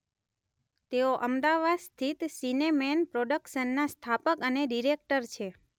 તેઓ અમદાવાદ સ્થિત સિનેમેન પ્રોડકશનના સ્થાપક અને ડિરેક્ટર છે.